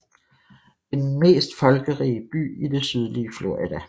Det er den mest folkerige by i det sydlige Florida